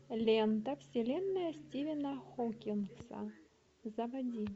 лента вселенная стивена хокинга заводи